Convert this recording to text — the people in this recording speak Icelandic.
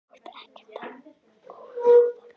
Þú ert ekkert að ónáða mig.